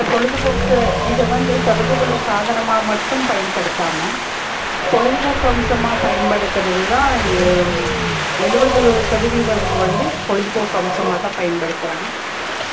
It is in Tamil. இந்த பொழுதுபோக்கு இத வந்து தொடர்பு கொள்ளும் சாதனமா மட்டும் பயன்படுத்தாம பொழுதுபோக்கு அம்சமா பயன்படுத்துறது தா ஏழுவது சதவீதம் வந்து பொழுதுபோக்கு அம்சமாதா பயன்படுத்துறாங்க